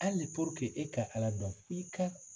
Hali e ka ALA dɔn f'i ka